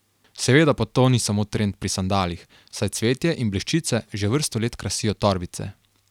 Seveda pa to ni samo trend pri sandalih, saj cvetje in bleščice že vrsto let krasijo torbice.